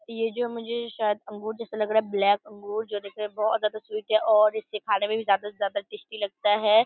ये जो मुझे शायद अंगूर जैसा लग रहा है ब्लैक अंगूर जो दिख रहा है बहुत ज्यादा स्वीट है और इसे खाने में भी ज्यादा से ज्यादा टेस्टी लगता है।